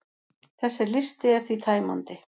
Þessi listi er því tæmandi.